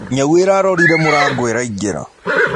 Nyaũ ĩrarorĩre mũrango ĩraĩngĩra